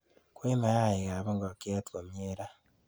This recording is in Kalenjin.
kwey mayaiik ab nkokaiik komyee ra.